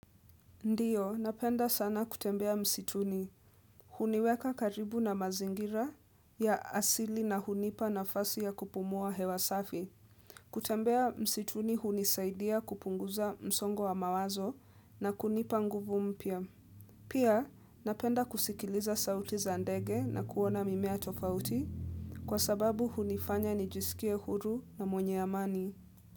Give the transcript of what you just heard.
Ndiyo, napenda sana kutembea msituni. Huniweka karibu na mazingira ya asili na hunipa nafasi ya kupumua hewa safi. Kutembea msituni hunisaidia kupunguza msongo wa mawazo na kunipa nguvu mpya. Pia, napenda kusikiliza sauti za ndege na kuona mimea tofauti kwa sababu hunifanya nijisikie huru na mwenye amani.